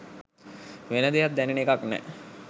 වෙන දෙයක් දැනෙන එකක් නෑ.